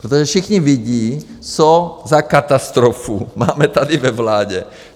Protože všichni vidí, co za katastrofu máme tady ve vládě.